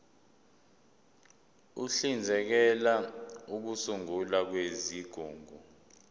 uhlinzekela ukusungulwa kwezigungu